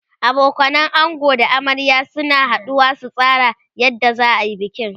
abokanan ango da na amarya suna haduwa su tsara yadda zaayi bikin